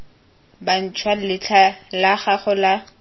bantšhwa letlha la gago la